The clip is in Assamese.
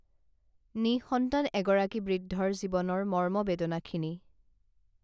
নিঃসন্তান এগৰাকী বৃদ্ধৰ জীৱনৰ মৰ্মবেদনাখিনি